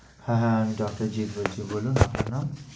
হ্যাঁ হ্যাঁ আমি doctor জিতু বলছি, বলুন।